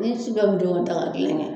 Ni su ka bitɔn ta ka kelen kɛ.